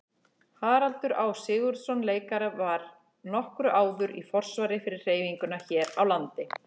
Haraldur Á. Sigurðsson leikari var nokkru áður í forsvari fyrir hreyfinguna hér á landi.